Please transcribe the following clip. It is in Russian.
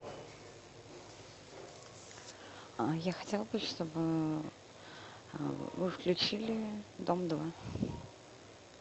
я хотела бы чтобы вы включили дом два